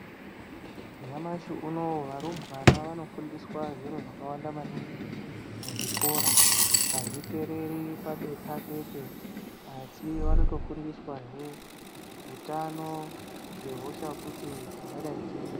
Nyamashi uno varumbwana vanofundiswa zviro zvakawanda maningi muzvikora. Hazvipereri pabepa chete, asi vanotofundiswahe utano, ngehosha futi dzingadai dziriyo.